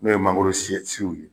N'o ye mangoro ye.